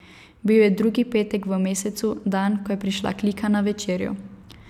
Bil je drugi petek v mesecu, dan, ko je prišla klika na večerjo.